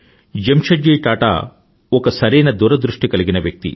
జెమ్షెడ్ జీ టాటా ఒక సరైన దూరదృష్టి కలిగిన వ్యక్తి